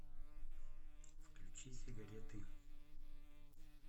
включи сигареты